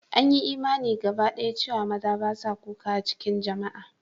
An yi imani gabadaya cewa maza ba su kuka a cikin jama'a.